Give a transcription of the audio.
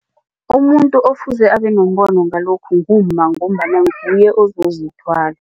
Umuntu okufuze abenombono ngalokhu ngumma ngombana nguye ozozithwala.